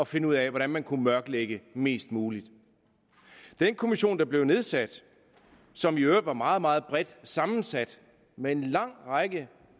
finde ud af hvordan man kunne mørklægge mest muligt den kommission der blev nedsat og som i øvrigt var meget meget bredt sammensat med en lang række